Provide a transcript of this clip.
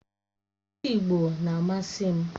Ịsụ Igbo na-amasị m